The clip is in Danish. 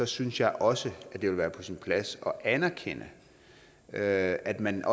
synes jeg også det vil være på sin plads at anerkende at at man